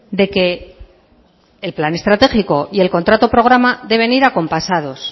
de que el plan estratégico y el contrato programa deben ir acompasados